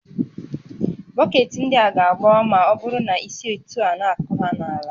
Bọketị ndị a ga-agbawa ma ọ bụrụ na isi etu a na-akụ ha n'ala